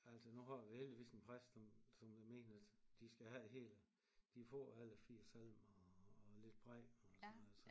Altså nu har vi heldigvis en præst som som der mener at de skal have det hele de får alle 4 salmer og lidt prædiken og sådan noget så